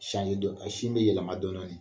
dɔni sin bɛ yɛlɛma dɔn dɔnni